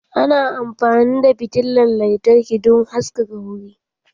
Ana amfani da fitilan lantarki don haskaka wuri.